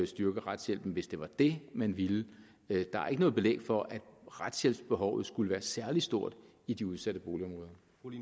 styrke retshjælpen hvis det var det man ville der er ikke noget belæg for at retshjælpsbehovet skulle være særlig stort i de udsatte boligområder